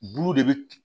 Bulu de bɛ